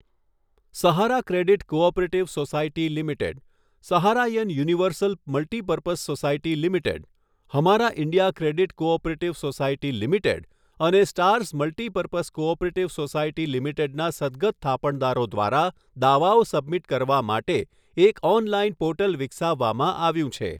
સહારા credit cooperative society limited, Saharayan universal multipurpose society limited, Hamara India credit cooperative society limited અને stars multipurpose cooperative society લિમિટેડના સદ્દગત થાપણદારો દ્વારા દાવાઓ સબમિટ કરવા માટે એક ઓનલાઇન પોર્ટલ વિકસાવવામાં આવ્યું છે.